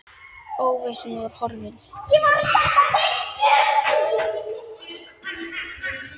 Óvissan var horfin.